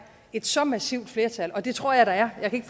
et så massivt flertal og det tror jeg der er